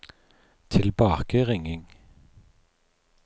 tilbakeringing